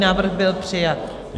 Návrh byl přijat.